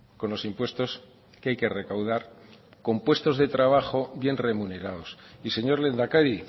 con los impuestos que hay que recaudar con puestos de trabajo bien remunerados y señor lehendakari